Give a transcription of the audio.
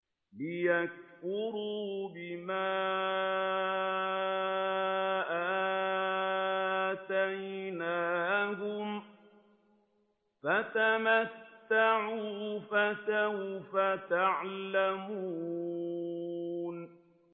لِيَكْفُرُوا بِمَا آتَيْنَاهُمْ ۚ فَتَمَتَّعُوا فَسَوْفَ تَعْلَمُونَ